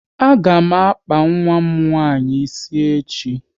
A ga m akpa nwa m nwaanyị ịsị echi